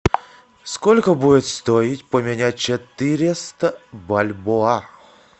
сколько будет стоить поменять четыреста бальбоа